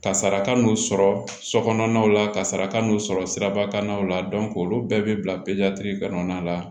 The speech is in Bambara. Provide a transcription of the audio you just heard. Kasara kan n'u sɔrɔ sokɔnɔna la kasara kan n'u sɔrɔ sirabakannaw la olu bɛɛ bɛ bila pezaliti kɔnɔna la